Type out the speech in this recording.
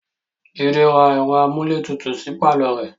Jide ra ẹ̀rọ amúlétutù sí pàlọ́ rẹ̀